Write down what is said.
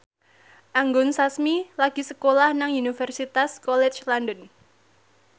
Anggun Sasmi lagi sekolah nang Universitas College London